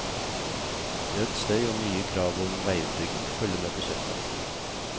Økt støy og nye krav om veiutbygging følger med på kjøpet.